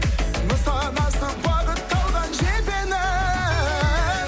нысанасы бағытталған жебенің